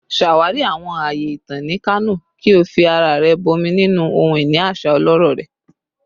Ṣawari awọn aaye itan ni Kano ki o fi ara rẹ bọmi ninu ohun-ini aṣa ọlọrọ rẹ